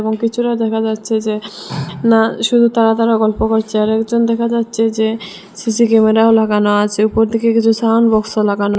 এবং পিছনে দেখা যাচ্ছে যে না শুধু তারা তারা গল্প করছে আরেকজন দেখা যাচ্ছে যে সি_সি ক্যামেরাও লাগানো আছে উপর দিকে কিছু সাউন্ড বক্সও লাগানো--